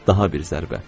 Daha bir zərbə.